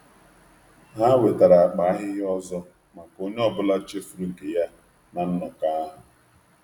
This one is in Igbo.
Ha wetara akpa nsị ọzọ maka onye ọ bụla chefuru nke ya na nzukọ.